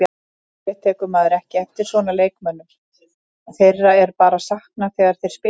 Yfirleitt tekur maður ekki eftir svona leikmönnum, þeirra er bara saknað þegar þeir spila ekki.